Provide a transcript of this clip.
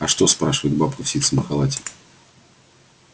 а что спрашивает бабка в ситцевом халате